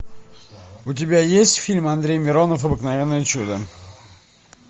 у тебя есть фильм андрей миронов обыкновенное чудо